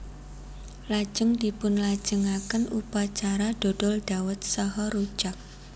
Lajeng dipunlajengaken upacara dodol dhawet saha rujak